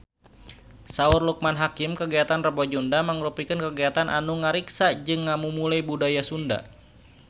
Saur Loekman Hakim kagiatan Rebo Nyunda mangrupikeun kagiatan anu ngariksa jeung ngamumule budaya Sunda